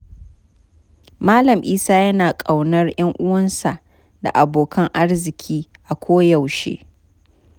Malam Isa yana ƙaunar 'yanuwansa da abokan arziki a koyaushe.